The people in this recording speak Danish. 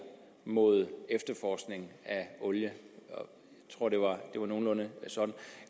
mod efterforskningen af olie jeg tror det var nogenlunde sådan